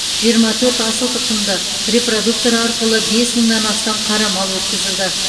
жиырма төрт асыл тұқымды репродуктор арқылы бес мыңнан астам қара мал өткізілді